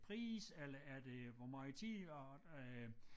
Pris eller er det hvor meget tid og øh